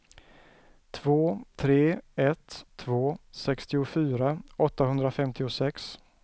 två tre ett två sextiofyra åttahundrafemtiosex